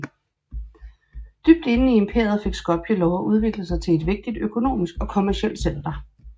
Dybt inde i imperiet fik Skopje lov at udvikle sig til et vigtigt økonomisk og kommercielt center